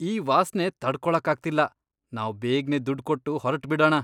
ಈ ವಾಸ್ನೆ ತಡ್ಕೊಳಕ್ಕಾಗ್ತಿಲ್ಲ. ನಾವ್ ಬೇಗ್ನೆ ದುಡ್ಡ್ ಕೊಟ್ಟು ಹೊರ್ಟ್ಬಿಡಣ.